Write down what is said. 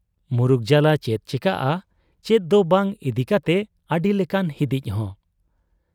ᱢᱩᱨᱩᱠ ᱡᱟᱞᱟ ᱪᱮᱫ ᱪᱤᱠᱟᱹᱜ ᱟ ᱪᱮᱫ ᱫᱚ ᱵᱟᱝ ᱤᱫᱤ ᱠᱟᱛᱮᱫ ᱟᱹᱰᱤ ᱞᱮᱠᱟᱱ ᱦᱤᱫᱤᱡ ᱦᱚᱸ ᱾